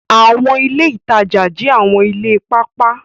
Awọn ile itaja jẹ awọn ile paapaa